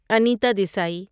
انیتا دیسی